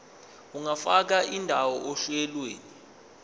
ungafaka indawo ohlelweni